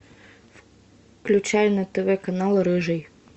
включай на тв канал рыжий